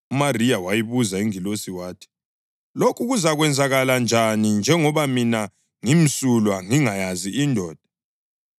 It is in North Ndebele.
UMariya wayibuza ingilosi wathi, “Lokho kuzakwenzakala njani njengoba mina ngimsulwa ngingayazi indoda?”